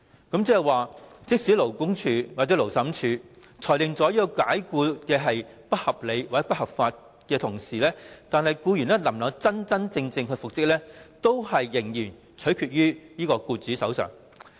換言之，在勞工處或勞審處裁定有關解僱屬不合理及不合法時，僱員能否真正復職，仍然取決於僱主。